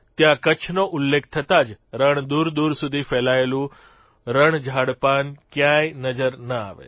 ત્યાં કચ્છનો ઉલ્લેખ થતાં જ રણ દૂરદૂર સુધી ફેલાયેલું રણ ઝાડપાન કયાંય નજર ન આવે